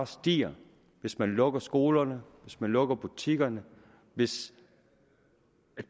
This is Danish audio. stige hvis man lukker skolerne hvis man lukker butikkerne hvis